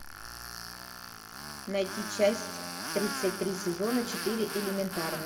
найти часть тридцать три сезона четыре элементарно